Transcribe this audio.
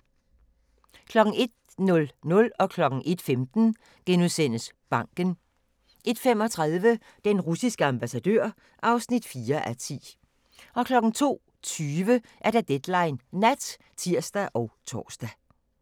01:00: Banken * 01:15: Banken * 01:35: Den russiske ambassadør (4:10) 02:20: Deadline Nat (tir og tor)